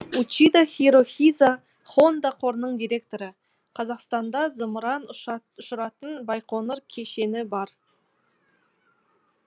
учида хирохиза хонда қорының директоры қазақстанда зымыран ұшыратын байқоңыр кешені бар